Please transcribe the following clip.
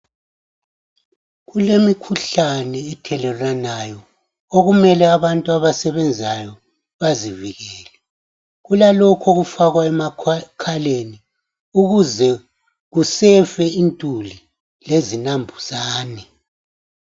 Kulemikhuhlane ethelelwanayo okumele abantu abasebenzayo bazivikele. Kulalokhu okufakwa emakhaleni ukuze kusefe intuli lezinambuzane.